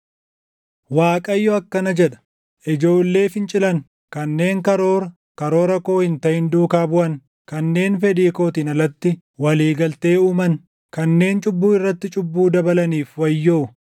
Waaqayyo akkana jedha: “Ijoollee fincilan, kanneen karoora karoora koo hin taʼin duukaa buʼan, kanneen fedhii kootiin alatti walii galtee uuman, kanneen cubbuu irratti cubbuu dabalaniif wayyoo;